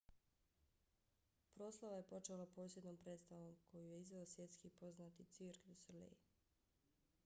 proslava je počela posebnom predstavom koju je izveo svjetski poznati cirque du soleil